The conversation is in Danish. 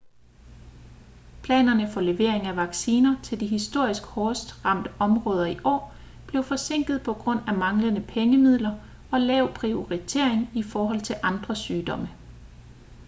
planerne for levering af vacciner til de historisk hårdest ramte områder i år blev forsinket på grund af manglende pengemidler og lav prioritering i forhold til andre sygdomme